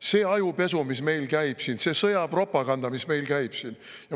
See ajupesu, mis meil käib siin, see sõjapropaganda, mis meil käib siin …